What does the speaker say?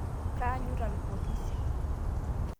Kaanyuta lpolisi